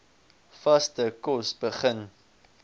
vaste kos begin